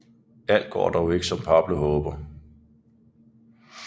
Alt går dog ikke som Pablo håber